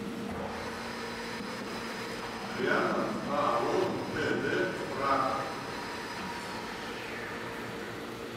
рядом ао тд тракт